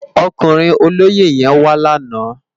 Ókúrin ólóyé yèn wá làná